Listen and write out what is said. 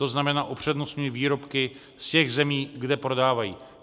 To znamená, upřednostňují výrobky z těch zemí, kde prodávají.